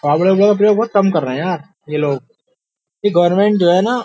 का प्रयोग बहुत कम कर रहे हैं यार ये लोग ये गवर्नमेंट जो है ना --